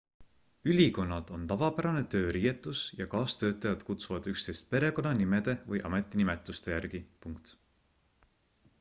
ülikonnad on tavapärane tööriietus ja kaastöötajad kutsuvad üksteist perekonnanimede või ametinimetuste järgi